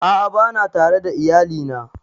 A'a bana tare da iyali na